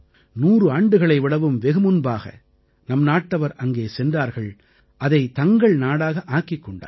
100 ஆண்டுகளை விடவும் வெகு முன்பாக நம் நாட்டவர் அங்கே சென்றார்கள் அதைத் தங்கள் நாடாக ஆக்கிக் கொண்டார்கள்